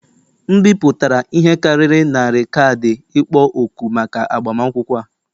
M bipụtara ihe karịrị narị kaadị ịkpọ òkù maka agbamakwụkwọ a